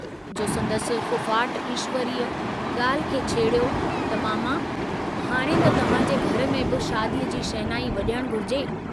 जो संदसि फुफाट ईश्वरीअ ग्राल्हि खे छेड़ियो त मामा हाणे त तव्हांजे घर में बि शादीअ जी शहनाई वज॒णु घुरिजे।